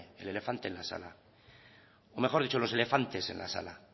el elefante en la sala o mejor dicho los elefantes en la sala